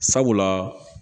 Sabula